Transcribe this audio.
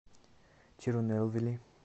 тирунелвели